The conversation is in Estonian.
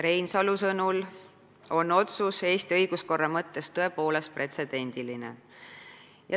Reinsalu sõnul on otsus Eesti õiguskorra mõttes tõepoolest pretsedendiline.